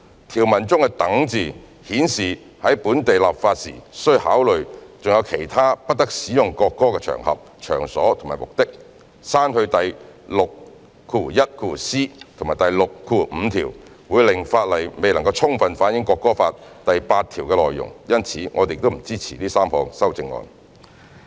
"，條文中的"等"字顯示本地立法時須考慮還有其他不得使用國歌的場合、場所或目的，刪去第 61c 及65條，會令法例未能充分反映《國歌法》第八條的內容，因此我們不支持這3項修正案。